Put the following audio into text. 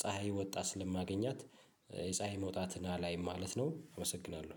ፀሀይ ወጣ ስለማገኛት የፀሀይ መውጣትን አላይም ማለት ነው። አመሰግናለሁ።